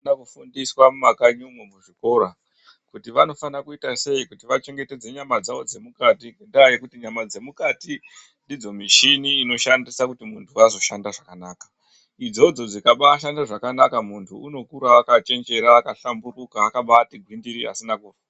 Vanofundiswa muma kanyi umu nemuzvikora kuti vanofana kuita sei vachengetedze nyama dzawo dzemukati ngenyaya yekuti nyama dzemukati ndidzo mishini dzinoshanda kuti muntu anoshanda zvakanaka idzodzo dzokaba shanda zvakanaka muntu anokura akachenjera akaba 0hlamburika akabati gwindiri asina....